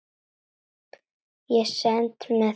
Ég stend með þeim.